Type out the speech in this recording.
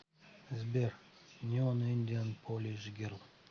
сбер неон индиан полиш герл